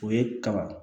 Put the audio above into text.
O ye kaba